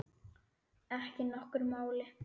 Ekki nokkru máli.